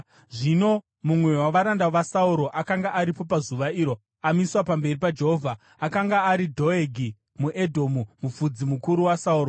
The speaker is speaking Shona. Zvino mumwe wavaranda vaSauro akanga aripo pazuva iro, amiswa pamberi paJehovha; akanga ari Dhoegi muEdhomu, mufudzi mukuru waSauro.